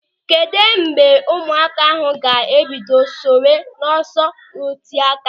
Kedụ mgbe ụmụaka ahụ ga-ebido sonyewe n'ọsọ oteáká?